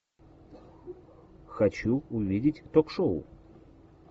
хочу увидеть ток шоу